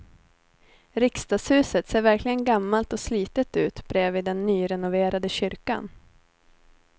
Riksdagshuset ser verkligen gammalt och slitet ut bredvid den nyrenoverade kyrkan.